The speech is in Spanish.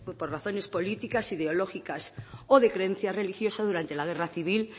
por razones políticas ideológicas o de creencia religiosa durante la guerra civil